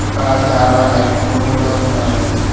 ఇక్కడ చాలా లైట్లు కూడా ఉన్నాయి.